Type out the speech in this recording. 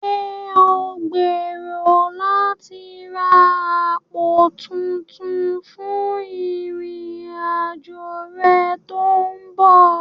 Ṣé ò ń gbèrò láti ra àpò tuntun fún ìrìn-àjò rẹ tó ń bọ̀?